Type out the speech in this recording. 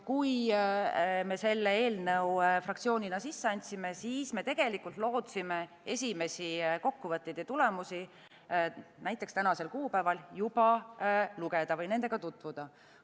Kui me selle eelnõu fraktsioonina sisse andsime, siis me lootsime esimesi kokkuvõtteid ja tulemusi näiteks tänasel kuupäeval juba lugeda või nendega tutvuda.